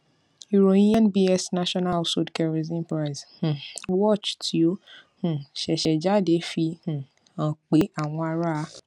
ìròyìn nbs national household kerosene price watch tí ó um ṣẹṣẹ jáde fi um hàn pé àwọn ará